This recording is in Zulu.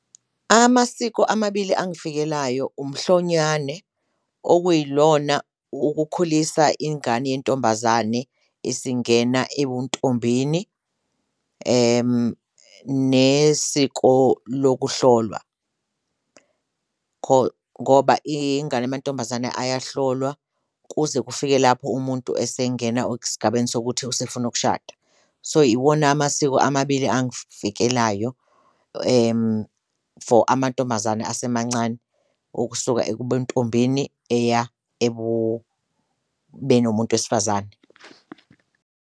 Amasiko amabili angifikelayo, umhlonyane, okuyilona ukukhulisa ingane yentombazane esingena ebuntombini nesiko lokuhlolwa ngoba ingane yamantombazane ayohlolwa kuze kufike lapho umuntu esengena esigabeni sokuthi usefuna ukushada, so iwona amasiko amabili angifikelayo for amantombazane asemancane okusuka ebuntombini eya ekubeni umuntu wesifazane.